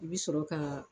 I bɛ sɔrɔ ka